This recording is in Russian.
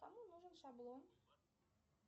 кому нужен шаблон